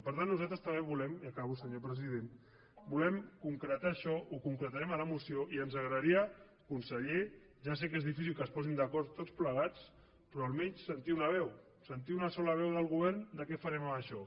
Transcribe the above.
per tant nosaltres també volem i acabo senyor president concretar això ho concretarem a la moció i ens agradaria conseller ja sé que és difícil que es posin d’acord tots plegats però almenys sentir una veu sentir una sola veu del govern sobre què farem amb això